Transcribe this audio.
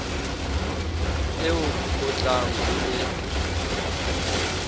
eo o tlang ho e